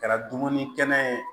Kɛra dumuni kɛnɛ ye